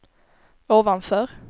ovanför